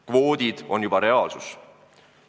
Kvoodid on juba reaalsus.